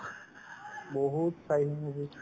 বহুত চাই movies